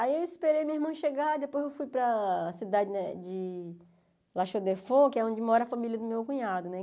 Aí eu esperei meu irmão chegar, depois eu fui para a cidade de La Chaux-de-Fonds, que é onde mora a família do meu cunhado, né?